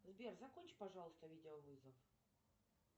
сбер закончи пожалуйста видеовызов